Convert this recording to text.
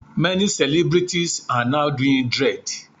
Many celebrities are now doing dread.